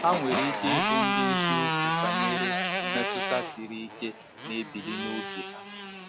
Ha nwere ike ịbụ ndị eziokwu banyere mmetụta siri ike na-ebili n’obi ha.